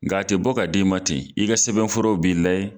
Nga a tɛ bɔ ka d'i ma ten i ka sɛbɛnfuraw b'i layɛ.